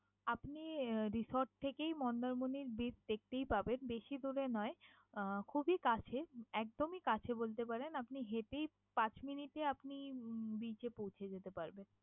আপনি আহ resort থেকেই মন্দারমনির beach দেখতেই পাবেন। বেশি দূরে নয়, আহ খুবই কাছে একদমই কাছে বলতে পারেন। আপনি হেঁটেই পাঁচ minute এ আপনি beach এ পৌছে যেতে পারবেন।